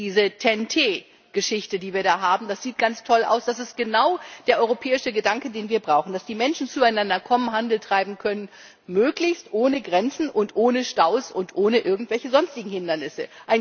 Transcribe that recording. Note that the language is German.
Diese TEN T Geschichte, die wir da haben, das sieht ganz toll aus, das ist genau der europäische Gedanke, den wir brauchen, dass die Menschen zueinander kommen, Handel treiben können, möglichst ohne Grenzen und ohne Staus und ohne irgendwelche sonstigen Hindernisse.